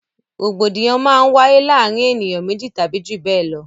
Rògbòdìyàn máa ń wáyé láàrin ènìyàn méjì tàbí jù bẹ lọ